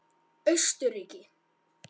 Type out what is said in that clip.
Austurríki